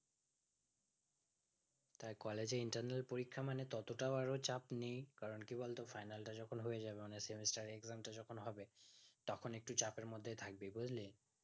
collage এ internal পরীক্ষা মানে ততোটাও আরো চাপ নেই কারণ কি বলতো final তা যখন হয়ে যাবে অনেক semester exam তা যেকোন হবে তখন একটু চাপের মধ্যে থাকবি বুজলি